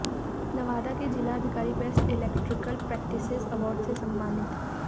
नवादा के जिलाधिकारी best electoral practices award से सम्मानित